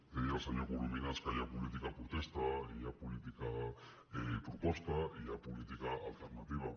deia el senyor corominas que hi ha política protesta hi ha política proposta i hi ha política alternativa